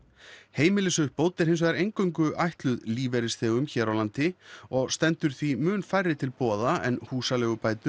heimilisuppbót er hins vegar ætluð lífeyrisþegum hér á landi og stendur því mun færri til boða en húsaleigubætur